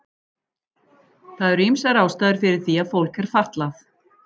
Það eru ýmsar ástæður fyrir því að fólk er fatlað.